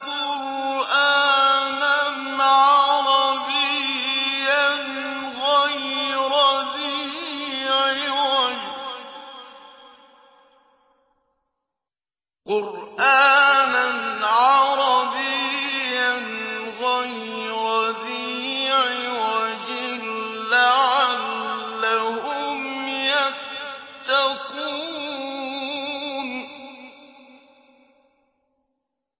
قُرْآنًا عَرَبِيًّا غَيْرَ ذِي عِوَجٍ لَّعَلَّهُمْ يَتَّقُونَ